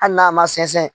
Hali n'a ma sɛnsɛn